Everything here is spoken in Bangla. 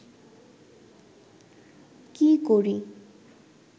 কি করি